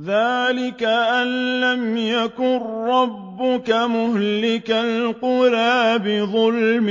ذَٰلِكَ أَن لَّمْ يَكُن رَّبُّكَ مُهْلِكَ الْقُرَىٰ بِظُلْمٍ